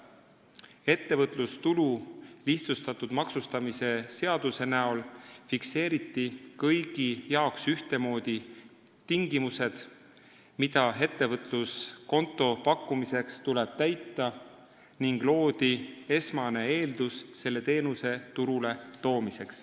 Ettevõtlustulu lihtsustatud maksustamise seadusega fikseeriti ühtemoodi kõigi jaoks tingimused, mida ettevõtluskonto pakkumiseks tuleb täita, ning loodi esmane eeldus selle teenuse turule toomiseks.